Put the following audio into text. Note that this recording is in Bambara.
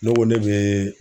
Ne ko ne bɛ